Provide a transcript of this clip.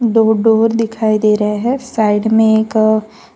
दो डोर दिखाई दे रहा है साइड में एक--